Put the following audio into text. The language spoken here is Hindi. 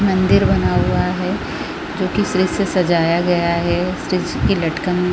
मंदिर बना हुआ है जोकि स्रिस्य से सजाया गया है स्रिस्य की लटकन --